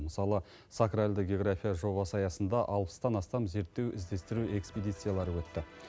мысалы сакралды география жобасы аясында алпыстан астам зерттеу іздестіру экспедициялары өтті